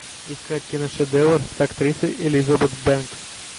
искать киношедевр с актрисой элизабет бэнкс